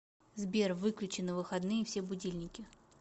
сбер выключи на выходные все будильники